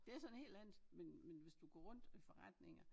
Det så noget helt andet men men hvis du går rundt i forretninger